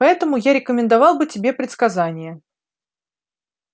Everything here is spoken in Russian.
поэтому я рекомендовал бы тебе предсказания